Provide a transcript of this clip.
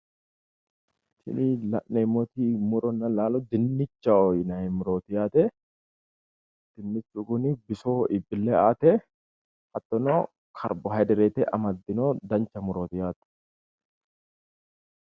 Tini la'neemmoti muronna laalo dinnichaho yinayi murooti yaate dinnichu kuni bisoho iibbille aate hattono kaarbohayidireete amaddino dancha murooti yaate